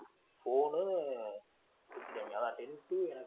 phone உ ஆனா ten to எனக்கு